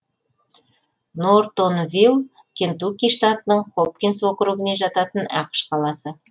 нортонвилл кентукки штатының хопкинс округіне жататын ақш қаласы